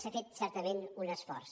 s’ha fet certament un esforç